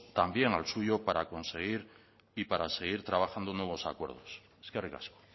también al suyo para conseguir y para seguir trabajando nuevos acuerdos eskerrik asko